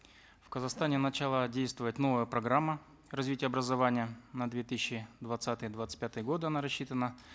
в казахстане начала действовать новая программа развития образования на две тысячи двадцатый двадцать пятые годы она рассчитана